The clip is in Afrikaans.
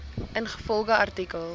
ingevolge artikel